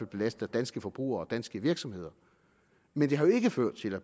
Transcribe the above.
belaster danske forbrugere og danske virksomheder men det har jo ikke ført til at